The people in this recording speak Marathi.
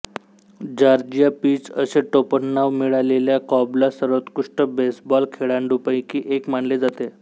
जॉर्जिया पीच असे टोपणनाव मिळालेल्या कॉबला सर्वोत्कृष्ट बेसबॉल खेळाडूंपैकी एक मानले जाते